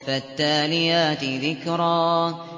فَالتَّالِيَاتِ ذِكْرًا